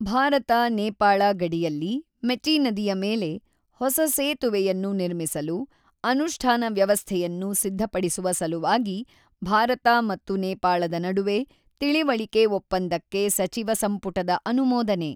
ಭಾರತ ನೇಪಾಳ ಗಡಿಯಲ್ಲಿ ಮೆಚಿ ನದಿಯ ಮೇಲೆ ಹೊಸ ಸೇತುವೆಯನ್ನು ನಿರ್ಮಿಸಲು ಅನುಷ್ಠಾನ ವ್ಯವಸ್ಥೆಯನ್ನು ಸಿದ್ಧಪಡಿಸುವ ಸಲುವಾಗಿ ಭಾರತ ಮತ್ತು ನೇಪಾಳದ ನಡುವೆ ತಿಳಿವಳಿಕೆ ಒಪ್ಪಂದಕ್ಕೆ ಸಚಿವ ಸಂಪುಟದ ಅನುಮೋದನೆ